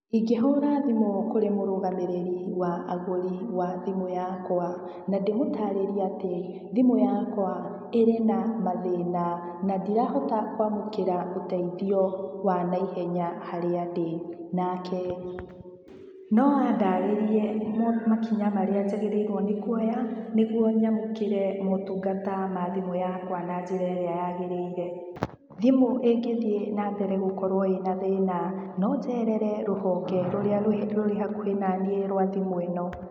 Ingĩhũra thimũ kũrĩ mũrũgamĩrĩrĩ wa agũri, wa thimũ yakwa, na ndĩmũtaarĩrie atĩ, thimũ yakwa ĩrĩ na mathĩna, na ndirahota kũamũkĩra ũteithio wa naihenya harĩa ndĩ. Nake no andarĩrie makinya marĩa njagĩrĩirwo nĩ kuoya, nĩguo nyamũkĩre maũtungata ma thimũ yakwa na njĩra ĩrĩa yagĩrĩire. Thimũ ĩngĩthiĩ nambere gũkorwo ĩna thĩna, no njerere rũhonge rũrĩa rũrĩ hakuhĩ na niĩ rwa thimu ĩno.